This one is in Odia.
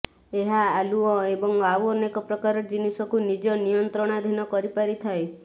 ଏହା ଆଲୁଅ ଏବଂ ଆଉ ଅନେକ ପ୍ରକାର ଜିନିଷକୁ ନିଜ ନିୟନ୍ତ୍ରଣାଧୀନ କରିପାରିଥାଏ